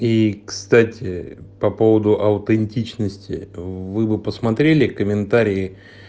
и кстати по поводу аутентичности вы посмотрели комментарии